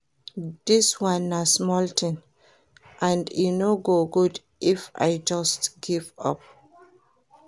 Dis one na small thing and e no go good if I just give up